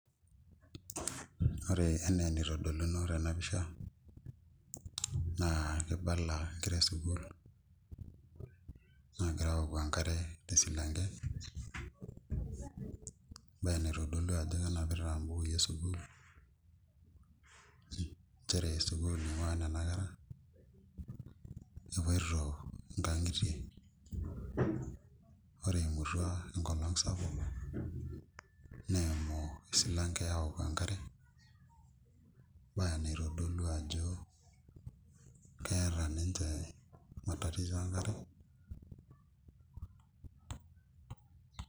Ore enaa enitodoluno tena pisha naa kibala nkera esukuul naagira aoku enkare tesilanke embaye naitodolu ajo kenapita mbukuui esukuul nchere sukuul ing'uaa nena kera epoito nkang'itie ore eimutua enkolong' sapuk neimu esilanke aaok enkare embaye naitodolu ajo keeta ninche matatizo enkare.